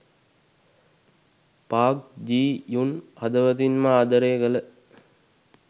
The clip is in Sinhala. පාක් ජී යුන් හදවතින්ම ආදරය කළ